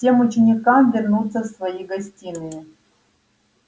всем ученикам вернуться в свои гостиные